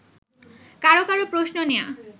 কারো কারো প্রশ্ন নেয়া